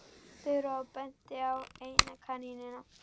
Þura og benti á eina kanínuna.